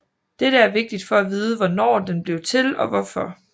Dette er vigtigt for at vide hvornår den blev til og hvorfor